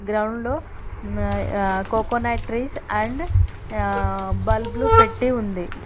Ground లోమ్మ్ ఆ coconut tree and ఆ బల్బులు పెట్టి ఉంది.